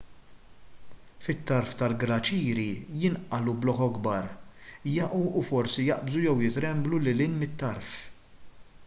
fit-tarf tal-glaċieri jinqalgħu blokok kbar jaqgħu u forsi jaqbżu jew jitremblu lil hinn mit-tarf